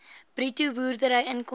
bruto boerderyinkomste